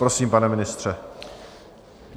Prosím, pane ministře.